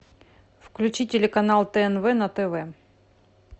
включи телеканал тнв на тв